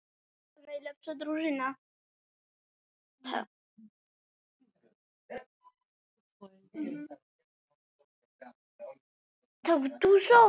Hörður Kristinsson.